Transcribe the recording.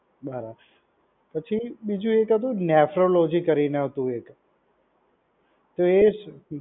બરાબર. પછી બીજું એક હતું નેફ્રોલોજી કરીને હતું એક. તો એ